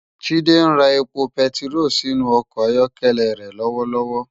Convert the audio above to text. Jide n rá épó pètiró si inú òkò áyòkèlè re lòwòlòwò